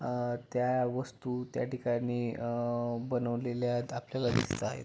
अ त्या वस्तु त्या ठिकाणी अ बनवलेल्या आपल्याला दिसत आहे.